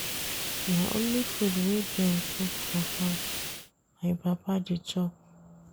Na only food wey dem cook for house my papa dey chop.